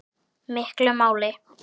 miklu máli.